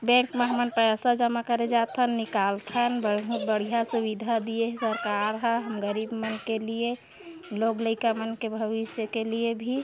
bank मे हमन पैसा जमा करे जाथन निकाल थन बहुत बढ़िया सुविधा दीये हे सरकार ह गरीब मन क लिए लोग लाइका मन के भविष्य के लिए भी--